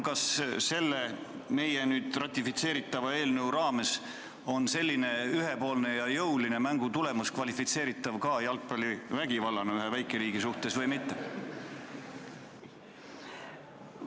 Kas selle nüüd heakskiidetava eelnõu valguses on selline ühepoolne ja jõuline mängu tulemus kvalifitseeritav jalgpallivägivallana ühe väikeriigi suhtes või mitte?